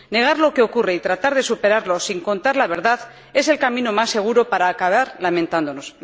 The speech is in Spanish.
negar lo que ocurre y tratar de superarlos sin contar la verdad es el camino más seguro para acabar lamentándonos.